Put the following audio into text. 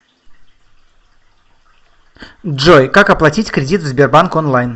джой как оплатить кредит в сбербанк онлайн